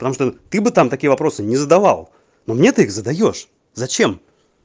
потому что ты бы там такие вопросы не задавал но мне ты их задаёшь зачем